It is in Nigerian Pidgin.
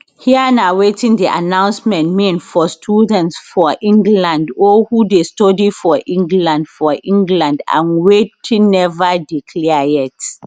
here na wetin di announcement mean for students from england or who dey study for england for england and wetin neva dey clear yet